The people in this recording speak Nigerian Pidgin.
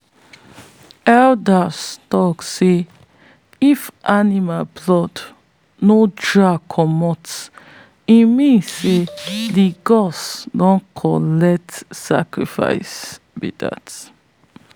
elders tok say if animal blood no drag comot e mean say the gods don collect sacrifice be dat.